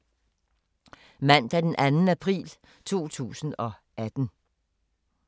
Mandag d. 2. april 2018